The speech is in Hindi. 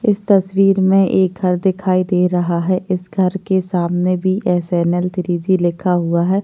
इस तस्वीर में एक घर दिखाई दे रहा है इस घर के सामने बी.एस.एन.एल. थ्री जी लिखा हुआ है।